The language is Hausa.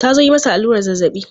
Ta zo yi masa allurar zazzabi.